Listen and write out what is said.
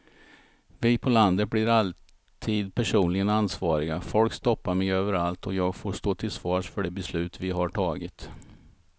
Vi på landet blir alltid personligen ansvariga, folk stoppar mig överallt och jag får stå till svars för de beslut vi har tagit.